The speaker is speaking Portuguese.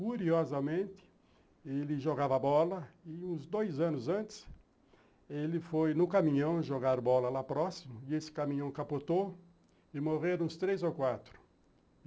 Curiosamente, ele jogava bola e uns dois anos antes, ele foi no caminhão jogar bola lá próximo e esse caminhão capotou e morreram uns três ou quatro.